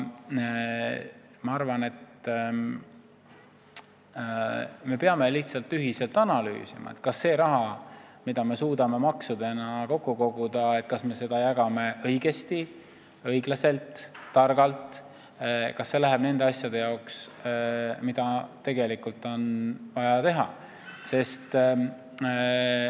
Ma arvan, et me peame lihtsalt ühiselt analüüsima, kas me jagame seda raha, mida me suudame maksudena kokku koguda, õigesti, õiglaselt ja targalt ning kas see läheb nende asjade jaoks, mida tegelikult on vaja teha.